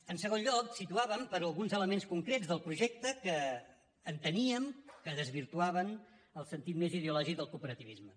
en segon lloc situàvem per alguns elements concrets del projecte que enteníem que desvirtuaven el sentit més ideològic del cooperativisme